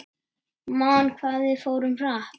Man hvað við fórum hratt.